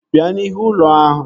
Bịa n'ihu ụlọ ahụ!